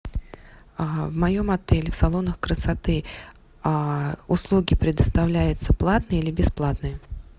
в моем отеле в салонах красоты услуги предоставляются платные или бесплатные